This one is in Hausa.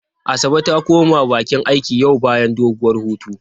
Asabe ta koma bakin aiki yau bayan doguwar hutu.